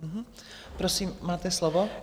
Prosím, máte slovo.